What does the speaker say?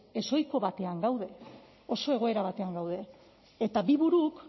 ezohiko batean gaude oso egoera batean gaude eta bi buruk